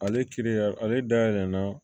Ale kiiri yɛrɛ ale dayɛlɛ na